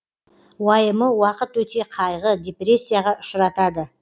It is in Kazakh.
уайымы уақыт өте қайғы депрессияға ұшыратады